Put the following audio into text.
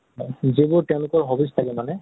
যিবোৰ তেওঁলোকৰ hobbies থাকে মানে